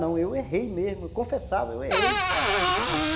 Não, eu errei mesmo, eu confessava, eu errei nesse ponto.